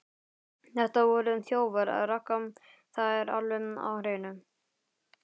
Þetta voru þjófar, Ragga, það er alveg á hreinu.